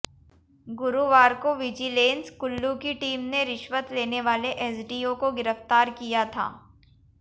गुरुवार को विजिलेंस कुल्लू की टीम ने रिश्वत लेने वाले एसडीओ को गिरफ्तार किया था